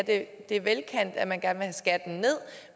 ja det er velkendt at man gerne vil have skatten ned